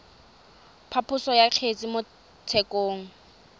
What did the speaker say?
phaposo ya kgetse mo tshekong